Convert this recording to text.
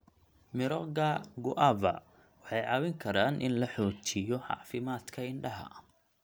Mirooga guava waxay caawin karaan in la xoojiyo caafimaadka indhaha.